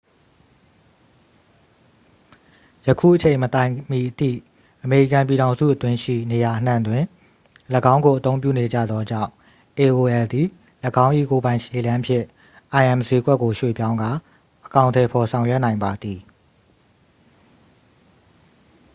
ယခုအချိန်မတိုင်မီအထိ အမေရိကန်ပြည်ထောင်စုအတွင်းရှိ နေရာအနှံ့တွင် ၎င်းကိုအသုံးပြုနေကြသောကြောင့် aol သည် ၎င်း၏ကိုယ်ပိုင်ခြေလှမ်းဖြင့် im စျေးကွက်ကို ရွှေ့ပြောင်းကာ အကောင်အထည်ဖော်ဆောင်ရွက်နိုင်ပါသည်